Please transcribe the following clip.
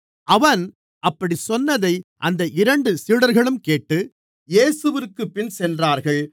அவன் அப்படிச் சொன்னதை அந்த இரண்டு சீடர்களும் கேட்டு இயேசுவிற்குப் பின் சென்றார்கள்